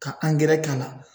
Ka angɛrɛ k'a la